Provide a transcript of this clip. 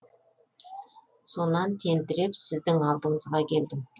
сонан тентіреп сіздің алдыңызға келдім